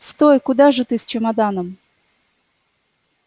стой куда же ты с чемоданом